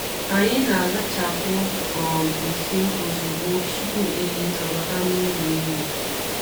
Anyị na-azachapụ um nsị ozugbo tupu ehi abata n’ụlọ ehi.